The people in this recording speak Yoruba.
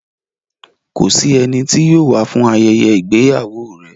Kò sí ẹni tí yóò wá fún ayẹyẹ ìgbéyàwó rẹ̀.